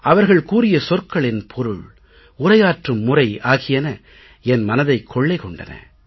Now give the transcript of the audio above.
அவர்கள் கூறிய சொற்களின் பொருள் உரையாற்றும் முறை ஆகியன என மனத்தைக் கொள்ளை கொண்டன